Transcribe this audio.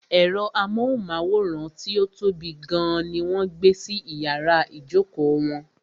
Ẹ̀rọ amóhùnmáwòrán tí ó tóbi gan ní wọ́n gbé sí iyàrá ìjókò wọn.